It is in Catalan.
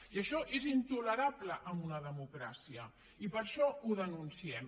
i això és intolerable en una democràcia i per això ho denunciem